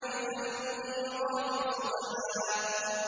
فَالْمُغِيرَاتِ صُبْحًا